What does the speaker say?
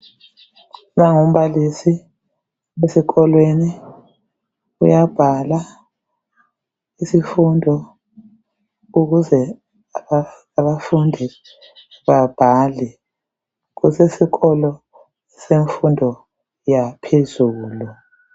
Lowu ngumbalisi esikolweni uyabhala isifundo ukuze abafundi babhale kusesikolo semfundo yaphezulu.